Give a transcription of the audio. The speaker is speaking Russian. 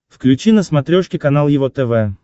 включи на смотрешке канал его тв